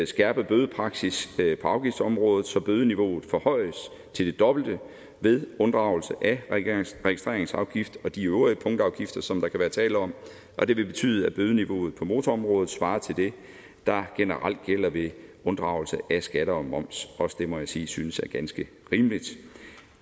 skærpe bødepraksis på afgiftsområdet så bødeniveauet forhøjes til det dobbelte ved unddragelse af registreringsafgift og de øvrige punktafgifter som der kan være tale om og det vil betyde at bødeniveauet på motorområdet svarer til det der generelt gælder ved unddragelse af skatter og moms også det må jeg sige jeg synes er ganske rimeligt